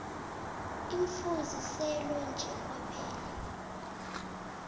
limfuziselo nje kwaphela